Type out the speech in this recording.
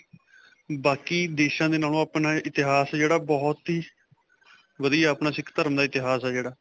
ਬਾਕੀ ਦੇਸ਼ਾ ਦੇ ਨਾਲੋ ਆਪਣਾ ਇਤਿਹਾਸ ਹੈ ਜਿਹੜਾ, ਬਹੁਤ ਹੀ ਵਧੀਆ, ਆਪਣਾ ਸਿੱਖ ਧਰਮ ਦਾ ਇਤਿਹਾਸ ਹੈ ਜਿਹੜਾ.